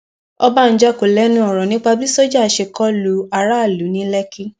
ọbànjọ kò lẹnu ọrọ nípa bí sójà ṣe kó lu aráàlú ní lẹkì